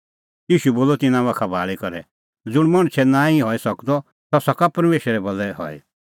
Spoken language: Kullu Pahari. ईशू बोलअ तिन्नां बाखा भाल़ी करै ज़ुंण मणछे भलै नांईं हई सकदअ सह सका परमेशरे भलै हई